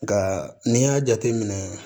Nka n'i y'a jateminɛ